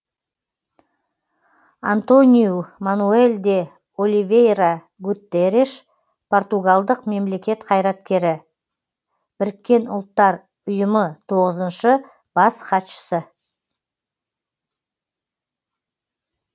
антониу мануэл де оливейра гутерреш португалдық мемлекет қайраткері біріккен ұлттар ұйымы тоғызыншы бас хатшысы